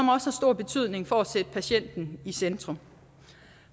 har stor betydning for at sætte patienten i centrum